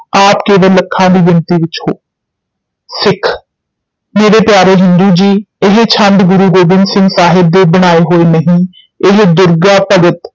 ਆਪ ਕੇਵਲ ਲੱਖਾਂ ਦੀ ਗਿਣਤੀ ਵਿੱਚ ਹੋ, ਸਿੱਖ ਮੇਰੇ ਪਿਆਰੇ ਹਿੰਦੂ ਜੀ ਇਹ ਛੰਦ ਗੁਰੂ ਗੋਬਿੰਦ ਸਿੰਘ ਸਾਹਿਬ ਦੇ ਬਣਾਏ ਹੋਏ ਨਹੀਂ ਇਹ ਦੁਰਗਾ-ਭਗਤ